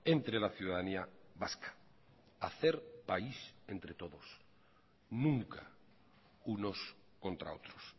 entre la ciudadanía vasca hacer país entre todos nunca unos contra otros